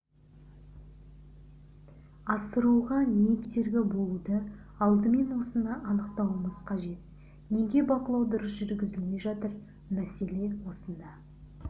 асыруға не кедергі болуды алдымен осыны анықтауымыз қажет неге бақылау дұрыс жүргізілмей жатыр мәселе осында